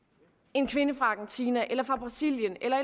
en kvinde fra argentina eller fra brasilien eller